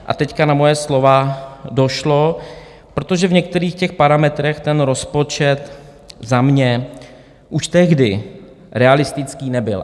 A teď na moje slova došlo, protože v některých těch parametrech ten rozpočet za mě už tehdy realistický nebyl.